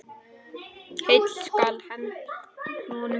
Heill skal honum senda.